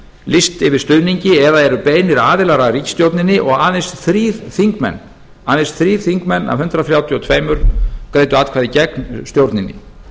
lýst yfir stuðningi eða eru beinir aðilar að ríkisstjórninni og aðeins þrír þingmenn af hundrað þrjátíu og tvö greiddu atkvæði gegn stjórninni